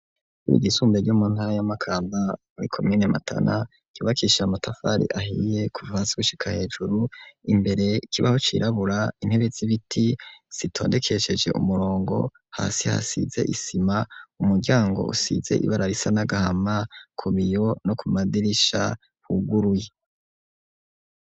Ishure ry'isumbuye ryo mu ntara ya makanba muri komine matana ryubakishijwe amatafari ahiye kuva hasi gushika hejuru imbere kibaho cirabura intebe zibiti zitondekesheje umurongo hasi hasize isima umuryango usize ibara risa n'agahama ku biyo no ku madirisha huguruye.